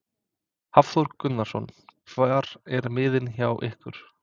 Hafþór Gunnarsson: Hvar eru miðin hjá ykkur?